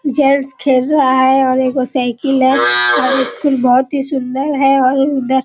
खेल रहा है और एक ओ साइकिल है और स्कूल बोहोत ही सुंदर है और --